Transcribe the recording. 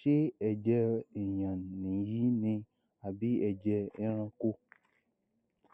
ṣé ẹjẹ èèyàn nìyí ni àbí ẹjẹ ẹranko